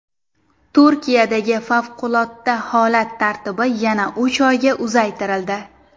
Turkiyadagi favqulodda holat tartibi yana uch oyga uzaytirildi.